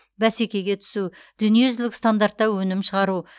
бәсекеге түсу дүниежүзілік стандартта өнім шығару